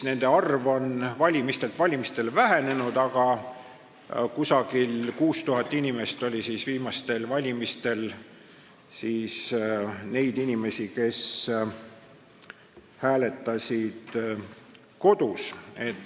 Nende arv on iga valimisega vähenenud, aga ligi 6000 oli viimasel valimisel neid inimesi, kes hääletasid kodus.